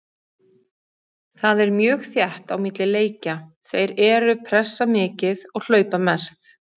Það er mjög þétt á milli leikja, þeir eru pressa mikið og hlaupa mest.